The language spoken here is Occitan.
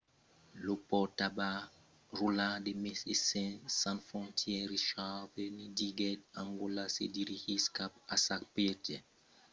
lo pòrtaparaula de médecins sans frontières richard veerman diguèt: angòla se dirigís cap a sa piéger epidèmia fins uèi e la situacion demòra fòrça marrida en angòla diguèt